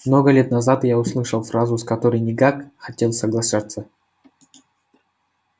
много лет назад я услышал фразу с которой никак хотел соглашаться